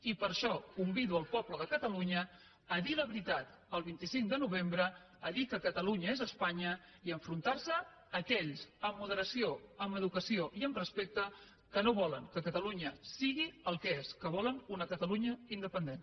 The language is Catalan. i per això convido el poble de catalunya a dir la veritat el vint cinc de novembre a dir que catalunya és espanya i a enfrontar se a aquells amb moderació amb educació i amb respecte que no volen que catalunya sigui el que és que volen una catalunya independent